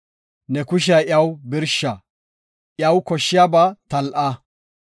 Ne kushiya iyaw birsha; iya koshshiyaba tal7a.